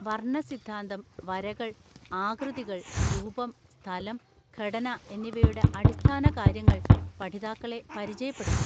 വർണ്ണ സിദ്ധാന്തം, വരകൾ, ആകൃതികൾ, രൂപം, സ്ഥലം, ഘടന എന്നിവയുടെ അടിസ്ഥാനകാര്യങ്ങൾ പഠിതാക്കളെ പരിചയപ്പെടുത്തും.